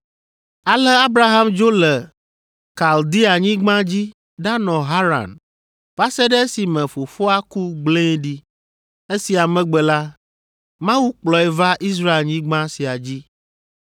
“Ale Abraham dzo le Kaldeanyigba dzi ɖanɔ Haran va se ɖe esime fofoa ku gblẽe ɖi. Esia megbe la, Mawu kplɔe va Israelnyigba sia dzi.